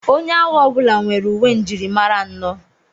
Onye agha ọbụla nwere uwe njirimara anọ.